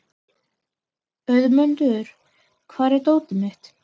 Auðmundur, hvar er dótið mitt?